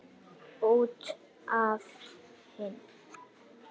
Út af henni!